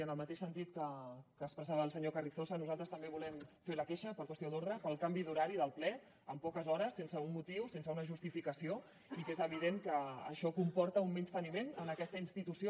en el mateix sentit que expressava el senyor carrizosa nosaltres també volem fer la queixa per qüestió d’ordre pel canvi d’horari del ple amb poques hores sense un motiu sense una justificació i que és evident que això comporta un menysteniment a aquesta institució